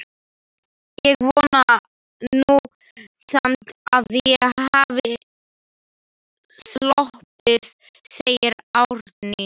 Ég vona nú samt að ég hafi sloppið, segir Árný.